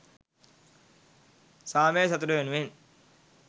සාමය සතුට වෙනුවෙන්